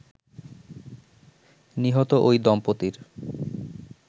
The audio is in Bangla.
নিহত ঐ দম্পতির